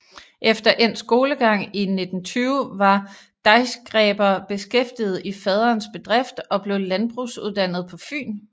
Efter endt skolegang i 1920 var Deichgräber beskæftiget i faderens bedrift og blev landbrugsuddannet på Fyn